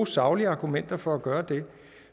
saglige argumenter for at gøre det